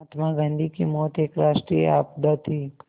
महात्मा गांधी की मौत एक राष्ट्रीय आपदा थी